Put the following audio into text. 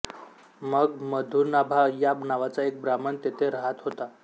मग मधुनाभा या नावाचा एक ब्राह्मण तेथे राहात होता